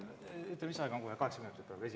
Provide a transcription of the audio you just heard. Ütle, kas lisaajaga on kohe kaheksa minutit või …